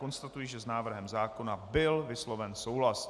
Konstatuji, že s návrhem zákona byl vysloven souhlas.